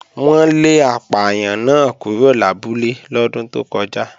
Wọ́n lé apàyàn náà kúrò lábúlé lọ́dún tó kọjá